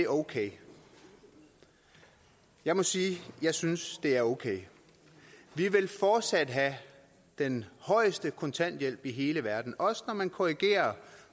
okay jeg må sige at jeg synes det er okay vi vil fortsat have den højeste kontanthjælp i hele verden også når man korrigerer